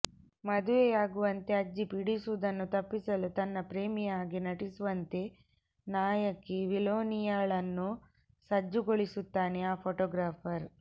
ಮದುವೆಯಾಗುವಂತೆ ಅಜ್ಜಿ ಪೀಡಿಸುವುದನ್ನು ತಪ್ಪಿಸಲು ತನ್ನ ಪ್ರೇಮಿಯ ಹಾಗೆ ನಟಿಸುವಂತೆ ನಾಯಕಿ ಮಿಲೋನಿಯನ್ಳನ್ನು ಸಜ್ಜುಗೊಳಿಸುತ್ತಾನೆ ಆ ಫೋಟೊಗ್ರಾಫರ್